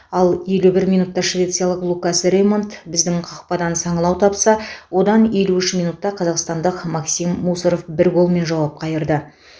ал елу бір минутта швециялық лукас рэймонд біздің қақпадан саңылау тапса одан елу үш минутта қазақстандық максим мусоров бір голмен жауап қайырды